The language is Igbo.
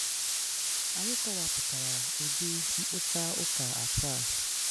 Ànyị kọ̀wàpụtara ụ̀dị̀ mkpụta ụ́kà asaa